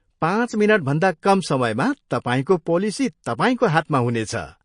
पाँच मिनटभन्दा कम समयमा तपाईँको पोलिसी तपाईँको हातमा हुनेछ।